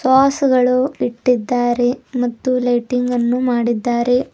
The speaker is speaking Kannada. ಪಾಸ್ಗಳು ಇಟ್ಟಿದ್ದಾರೆ ಮತ್ತು ಲೈಟಿಂಗನ್ನು ಮಾಡಿದ್ದಾರೆ.